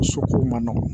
Soko man nɔgɔn